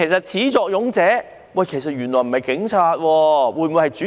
始作俑者會否不是警察，而是主席呢？